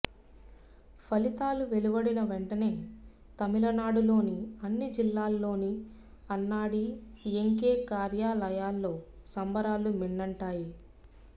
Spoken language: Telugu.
ఫలితాలు వెలువడిన వెంటనే తమిళనాడులోని అన్ని జిల్లాల్లోని అన్నాడి ఎంకే కార్యాలయాల్లో సంబరాలు మిన్నంటాయి